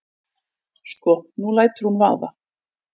Sko. nú lætur hún vaða.